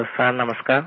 hello sir नमस्कार